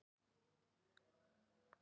Geir og þetta lið.